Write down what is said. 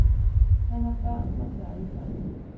Han har børn og børnebørn.